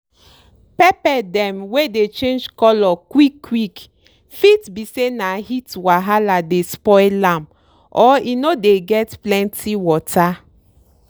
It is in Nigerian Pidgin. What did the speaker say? pepper dem wey dey change color quick quick fit be say na heat wahala dey spoil am or e no dey get plenty water.